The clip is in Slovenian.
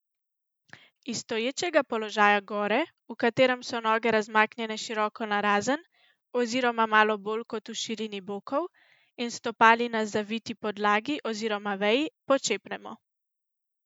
Iz stoječega položaja gore, v katerem so noge razmaknjene široko narazen oziroma malo bolj kot v širini bokov, in s stopali na zaviti podlagi oziroma veji počepnemo.